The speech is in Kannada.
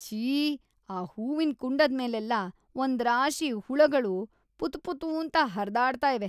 ಶ್ಶೀ.. ಆ ಹೂವಿನ್ ಕುಂಡದ್ಮೇಲೆಲ್ಲ ಒಂದ್ರಾಶಿ ಹುಳಗಳು ಪುತುಪುತೂಂತ ಹರ್ದಾಡ್ತಾ ಇವೆ.